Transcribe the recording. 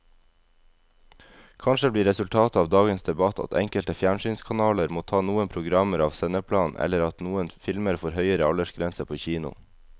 Kanskje blir resultatet av dagens debatt at enkelte fjernsynskanaler må ta noen programmer av sendeplanen eller at noen filmer får høyere aldersgrense på kino.